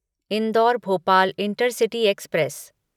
indoor Bhopal intercity express